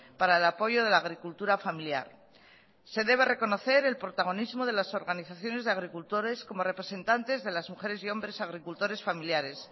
para el apoyo de la agricultura familiar se debe reconocer el protagonismo de las organizaciones de agricultores como representantes de las mujeres y hombres agricultores familiares